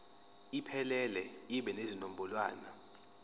iphelele ibe nezinombolwana